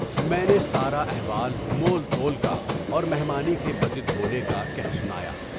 میں نے سارا احوال مول تول کا اور مہمانی کے بصد ہونے کا کہہ سنایا۔